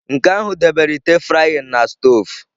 Nke ahụ debere ite frying na stovu